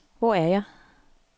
Hvor er jeg